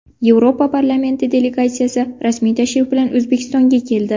Yevropa parlamenti delegatsiyasi rasmiy tashrif bilan O‘zbekistonga keldi.